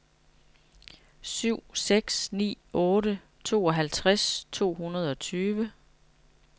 syv seks ni otte tooghalvtreds to hundrede og tyve